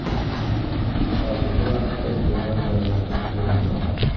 Hozirgi vaqtda bemor jonlantirish bo‘limida.